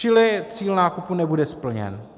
Čili cíl nákupu nebude splněn.